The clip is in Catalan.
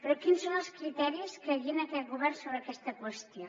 quins són els criteris que guien aquest govern sobre aquesta qüestió